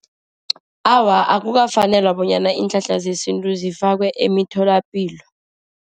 Awa, akukafaneli bonyana iinhlahla zesintu zifakwe emtholapilo.